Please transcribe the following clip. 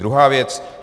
Druhá věc.